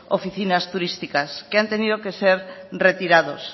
oficinas turísticas que han tenido que ser retirados